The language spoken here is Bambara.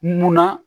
Munna